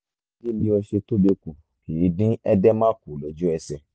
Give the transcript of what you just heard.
dídín bí o ṣe tóbi kù kìí dín edema kù lójú ẹsẹ̀